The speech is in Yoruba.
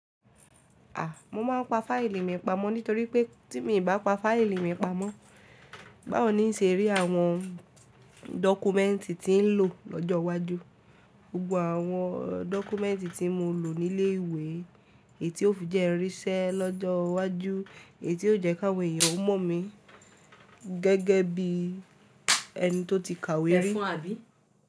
A! Mo máa ń pa fáìlì mi pamọ́ nítorí pé tí mi bá pa fáìlì mi pamọ́, báwo ní n ṣe rí àwọn dọ́kúmẹ́ǹtì tí ń lò lọ́jọ́ iwájú. Gbogbo àwọn dọ́kúmẹ́ǹtì tí mo lò ní ilé ìwé, èyí tí ó fi jẹ́ n ri iṣẹ́ lọ́jọ́ iwájú, èyí tí ó jẹ́ káwọn èèyàn ó mọ̀ mi gẹ́gẹ́ bí ẹni tó ti kàwé rí.